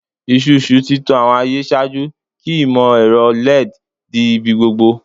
Isusu ti tan awọn aye ṣaaju ki imọ-ẹrọ LED di ibigbogbo